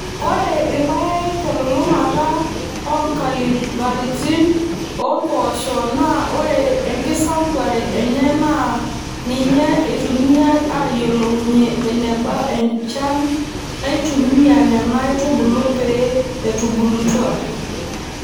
Ore irpaek telulung'ata oonkabilaritin oo mpoosho naa ore enkisambuare enye naa ninye eitumiyai aayiolounyie eneba enchan naitumiya Nena aitubulu pee etubulutwa.